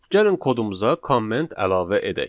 Gəlin kodumuza komment əlavə edək.